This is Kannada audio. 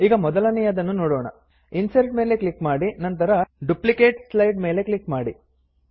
ಈಗ ಮೊದಲನೆಯದನ್ನು ನೋಡೋಣ ಇನ್ಸರ್ಟ್ ಮೇಲೆ ಕ್ಲಿಕ್ ಮಾಡಿ ನಂತರ ಡುಪ್ಲಿಕೇಟ್ ಸ್ಲೈಡ್ ಮೇಲೆ ಕ್ಲಿಕ್ ಮಾಡಿ